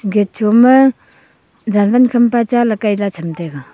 gate ma ke cham taiga.